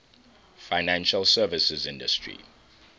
financial services industry